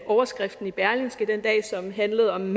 overskriften i berlingske den dag som handlede om